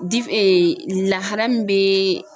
Dif lahala min bɛ